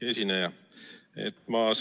Hea esineja!